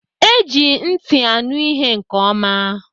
Eji ntị anụ ihe nke oma